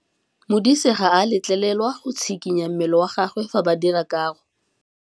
Modise ga a letlelelwa go tshikinya mmele wa gagwe fa ba dira karô.